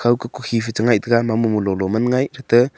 thau ka kukhi phai cha ngai taga mamung mololo man ngai chatte.